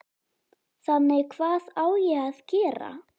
Þannig að hvað á ég að gera?